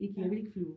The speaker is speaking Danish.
Ikke jeg vil ikke flyve